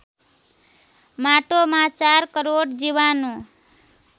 माटोमा ४ करोड जीवाणु